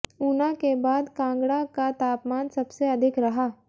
ऊना के बाद कांगड़ा का तापमान सबसे अधिक रहा